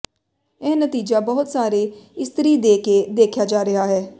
ਇਹ ਨਤੀਜਾ ਬਹੁਤ ਸਾਰੇ ਇਸਤਰੀ ਦੇ ਕੇ ਦੇਖਿਆ ਜਾ ਰਿਹਾ ਹੈ